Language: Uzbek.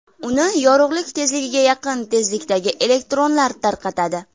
Uni yorug‘lik tezligiga yaqin tezlikdagi elektronlar tarqatadi.